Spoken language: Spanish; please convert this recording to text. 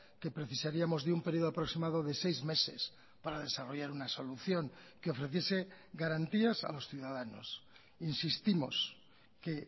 que precisaríamos de un período aproximado de seis meses para desarrollar una solución que ofreciese garantías a los ciudadanos insistimos que